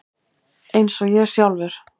Eins og ég sjálfur.